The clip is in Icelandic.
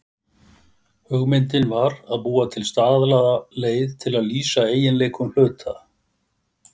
Hugmyndin var að búa til staðlaða leið til að lýsa eiginleikum hluta.